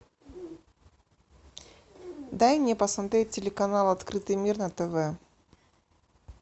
дай мне посмотреть телеканал открытый мир на тв